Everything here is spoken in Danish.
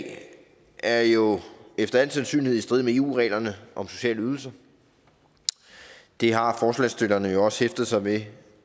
er jo efter al sandsynlighed i strid med eu reglerne om sociale ydelser det har forslagsstillerne jo også hæftet sig ved